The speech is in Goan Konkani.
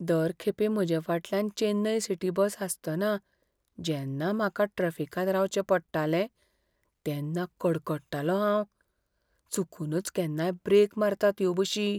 दर खेपे म्हजे फाटल्यान चेन्नई सिटी बस आसतना जेन्ना म्हाका ट्रॅफिकांत रावचें पडटालें तेन्ना कडकडटालों हांव. चुकूनच केन्नाय ब्रेक मारतात ह्यो बशी.